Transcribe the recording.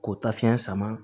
K'o ta fiɲɛ sama